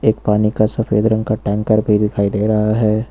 एक पानी का सफेद रंग का टैंकर भी दिखाई दे रहा है।